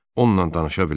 Onunla danışa bilər.